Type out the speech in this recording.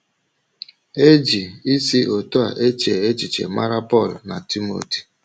E ji isi otú a eche echiche mara Pọl na Timoti.